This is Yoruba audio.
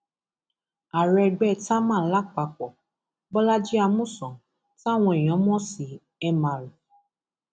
ààrẹ ẹgbẹ támán làpapọ bọlajì amusan táwọn èèyàn mọ sí mr